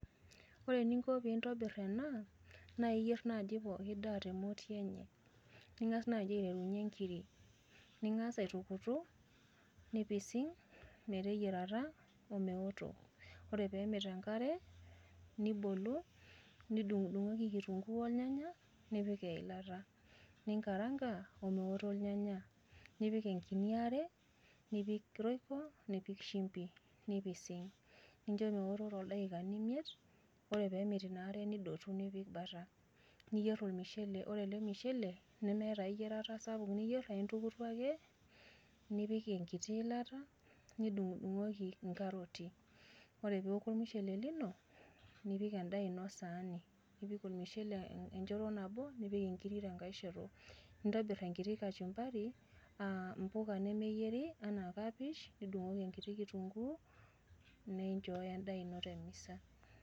Ore eninko pee intobirr ena, naa iyier najii pookin daa tee moti enye. Ing'as naji aiterunye nkirik ning'as aitukutuk nipising' meteyiarata omeoto. Ore pemit enkare nibolu nidung' dung'oki kitunkuu olnyanya nipik eilata, ninkaranka omeoto irnyanya. Nipik enkinyi are, nipik royco, nipik shimbi nipising'. Nincho meoto toldaikani miet, ore pemit inare nidotu nipik baata. Niyier ormushele, ore ele mushele nemeeta ai yiarata sapuk nipik neme intukutuk ake nipik enkiti ilata nidung' dung'oki nkarotii. Ore peeku ormushele lino nipik edaa ino saani. Nipik ormushele enchoto nabo nipik inkirik tenkae shoto. Nitobirr enkiti kachumbarj aa mbuka nemeyieri anaa kapesh nidung'oki enkitii kitunkuu ninchoyo edaa ino temisa.